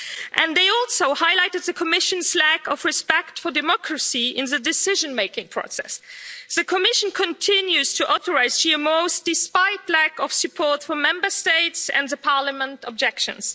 and they also highlighted the Commission's lack of respect for democracy in the decision making process. The Commission continues to authorise GMOs despite lack of support from Member States, and Parliament's objections.